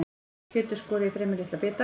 Kjötið skorið í fremur litla bita.